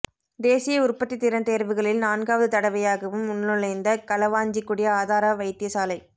தேசிய உற்பத்தித் திறன் தேர்வுகளில் நான்காவது தடவையாகவும் உள்நுழைந்த களுவாஞ்சிக்குடி ஆதார வைத்தியசாலை